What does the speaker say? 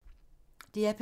DR P2